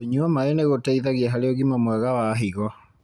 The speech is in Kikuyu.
Kũnyua maĩ nĩgũteithagia harĩ ũgima mwega wa higo.